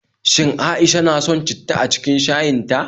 Shin A'isha na son citta a cikin shayin ta?